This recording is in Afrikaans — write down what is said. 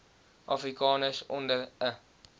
afrikaners onder n